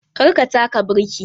Kar ka taka birki!